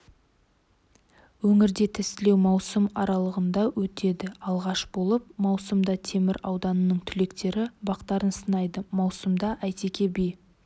өңірде тестілеу маусым аарлығында өтеді алғаш болып маусымда темір ауданының түлектері бақтарын сынайды маусымда әйтеке би